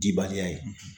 Dibaliya ye